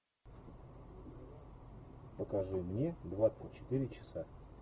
покажи мне двадцать четыре часа